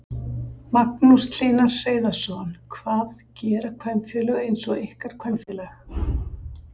Magnús Hlynur Hreiðarsson: Hvað gera kvenfélög eins og ykkar kvenfélag?